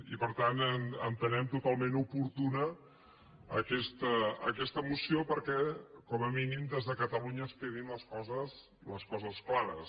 i per tant entenem totalment oportuna aquesta moció perquè com a mínim des de catalunya ens quedin les coses clares